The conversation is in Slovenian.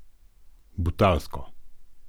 Butalsko!